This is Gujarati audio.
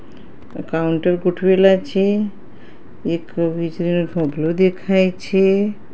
કાઉન્ટર ગોઠવેલા છે એક વીજળીનો થાંભલો દેખાય છે.